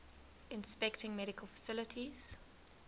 inspecting medical facilities